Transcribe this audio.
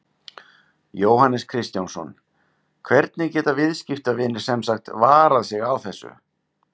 Jóhannes Kristjánsson: Hvernig geta viðskiptavinir sem sagt varað sig á þessu?